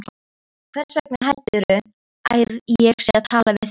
Hversvegna heldurðu að ég sé að tala við þig.